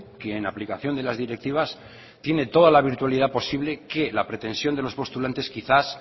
que en aplicación de las directivas tiene toda la virtualidad posible que la pretensión de los postulantes quizás